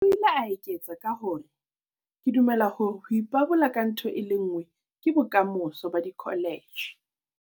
O ile a eketsa ka hore, "Ke dumela hore ho ipabola ka ntho e le nngwe ke bokamoso ba dikholetjhe."